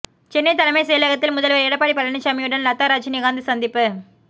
சென்னை தலைமை செயலகத்தில் முதல்வர் எடப்பாடி பழனிச்சாமியுடன் லதா ரஜினிகாந்த் சந்திப்பு